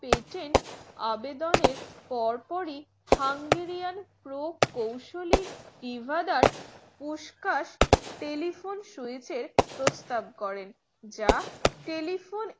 patent আবেদনের পরপর ই Hungarian pro কুশলিক এবাদের উসকাস telephone switch প্রস্তাব করেন যা